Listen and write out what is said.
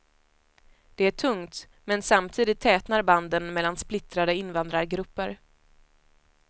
Det är tungt, men samtidigt tätnar banden mellan splittrade invandrargrupper.